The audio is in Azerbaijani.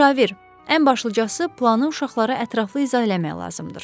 Müşavir, ən başlıcası planı uşaqlara ətraflı izah eləmək lazımdır.